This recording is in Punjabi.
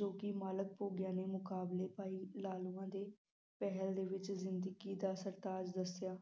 ਜੋ ਕਿ ਮਾਲਕ ਭੋਗਿਆ ਨੇ ਮੁਕਾਬਲੇ ਭਾਈ ਲਾਲੋਆਂ ਦੇ ਪਹਿਲ ਦੇ ਵਿਚ ਜ਼ਿੰਦਗੀ ਦਾ ਸਰਤਾਜ ਦਸਿਆ